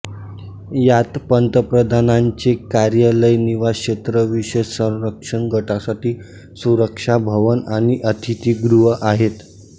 यात पंतप्रधानांचे कार्यालय निवास क्षेत्र विशेष संरक्षण गटासाठी सुरक्षा भवन आणि अतिथीगृह आहेत